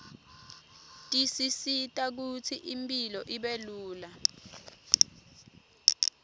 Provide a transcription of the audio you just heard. tisisita kutsi impilo ibelula